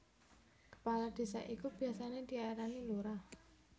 Kepala Désa iku biasané diarani Lurah